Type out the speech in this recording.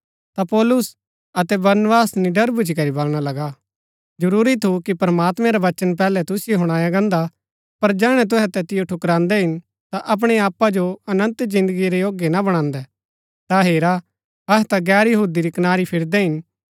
ता पौलुस अतै बरनबास निड़र भूच्ची करी बलणा लगा जरूरी थु कि प्रमात्मैं रा वचन पैहलै तुसिओ हुणाया गान्दा पर जैहणै तुहै तैतिओ ठुकरान्दै हिन ता अपणै आपा जो अनन्त जिन्दगी रै योग्य ना बणान्दै ता हेरा अहै ता गैर यहूदी री कनारी फिरदै हिन